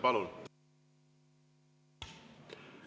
Palun!